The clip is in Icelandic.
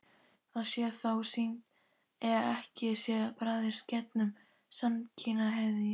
Það sé þó synd ef ekki sé barist gegn samkynhneigð.